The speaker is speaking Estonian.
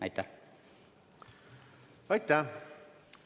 Aitäh!